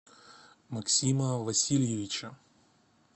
максима васильевича